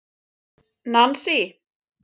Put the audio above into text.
Nansý